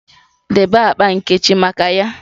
Debe akpa nkechi maka ya!